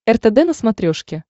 ртд на смотрешке